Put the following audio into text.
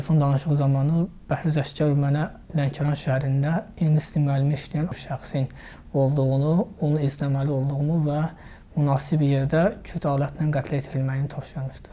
Telefon danışığı zamanı Bəhruz Əsgərov mənə Lənkəran şəhərində ingilis dili müəllimi işləyən o şəxsin olduğunu, onu izləməli olduğumu və münasib yerdə küçü alətnən qətlə yetirilməyini tapşırmışdı.